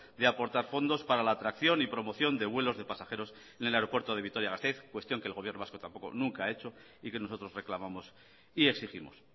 de aportar fondos para la atracción y promoción de vuelos de pasajeros en el aeropuerto de vitoria gasteiz cuestión que el gobierno vasco tampoco nunca ha hecho y que nosotros reclamamos y exigimos